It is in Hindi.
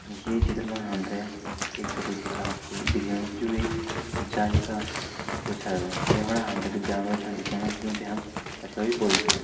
ये चित्र मा हमते एक छोटू तलाब छ दिखेणु जु एक जाली का भित्तर छ यख फण हमते कुछ जानवर छन दिखेणा जुं ते हम कछुआ भी बोल्दा छन।